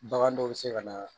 Bagan dɔw bɛ se ka na